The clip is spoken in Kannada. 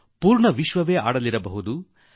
ಇಡೀ ವಿಶ್ವವೇ ಈಗ ಆಟಗಳನ್ನು ಆಡುತ್ತಿದೆ